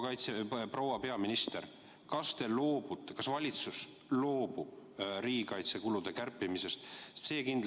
Proua peaminister, kas valitsus loobub riigikaitsekulude kärpimisest?